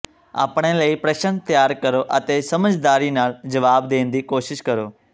ਆਪਣੇ ਲਈ ਪ੍ਰਸ਼ਨ ਤਿਆਰ ਕਰੋ ਅਤੇ ਸਮਝਦਾਰੀ ਨਾਲ ਜਵਾਬ ਦੇਣ ਦੀ ਕੋਸ਼ਿਸ਼ ਕਰੋ